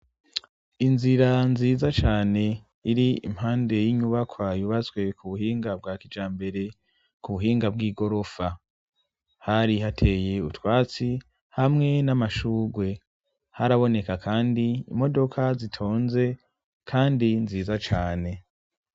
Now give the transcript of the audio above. inzira nziza cane iri impande y'inyubakwa yubaswe ku buhinga bwa kijambere ku buhinga bw'igorofa. Hari hateye utwatsi hamwe n'amashugwe haraboneka kandi imodoka zitonze kandi nziza cane.